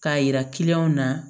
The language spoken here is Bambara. K'a yira na